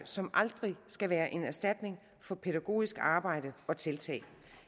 som aldrig skal være en erstatning for pædagogisk arbejde og pædagogiske tiltag